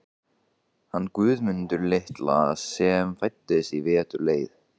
hann Guðmund litla sem fæddist í vetur leið.